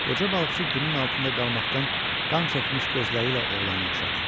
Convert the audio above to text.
Qoca balıqçı günün altında qalmaqdan qan çəkmiş gözləri ilə oğlana oxşadı.